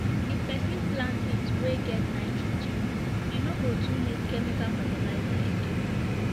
if person plant beans wey get nitrogen e no go too need chemical fertilizer again